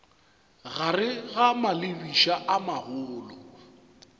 gare ga malebiša a magolo